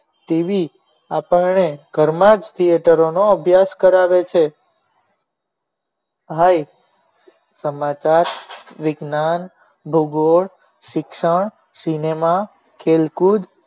TV આપણે ઘરમાં જ થિયેટરોનો અભ્યાસ કરાવે છે ભાઈ સમાચાર વિજ્ઞાન ભૂગોળ શિક્ષણ સિનેમા ખેલકૂદ